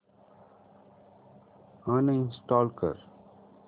uninstall कर